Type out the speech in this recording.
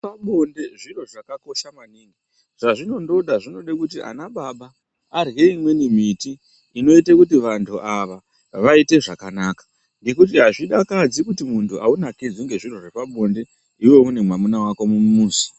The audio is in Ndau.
Zvepa bonde zviro zvakakosha maningi zvazvino ndoda zvinode kuti ana baba arye imweni miti inoite kuti vantu ava vaite zvakanaka ngekuti azvi dakadzi kui muntu aunakidzwi ne zviro zvepa bonde iwewe une mwamuna wako mu muzi.